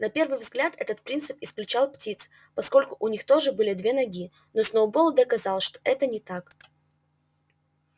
на первый взгляд этот принцип исключал птиц поскольку у них тоже были две ноги но сноуболл доказал что это не так